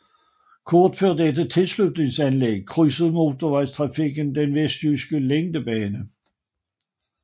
Kort før dette tilslutningsanlæg krydser motortrafikvejen den vestjyske længdebane